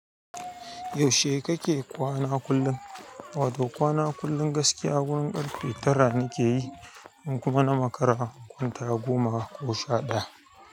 Yaushe kake kwana kullum? Wado kwana kullum gaskiya wurin ƙarfe tara ne ke yi, kuma na makara kwanta goma ko sha ɗaya.